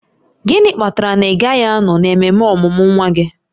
Gịnị kpatara na ị gaghị anọ n'ememe ọmụmụ nwa gị?